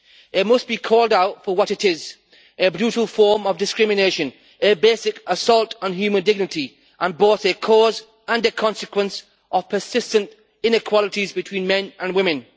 It must be called out for what it is a brutal form of discrimination, a basic assault on human dignity, and both a cause and a consequence of persistent inequalities between men and women.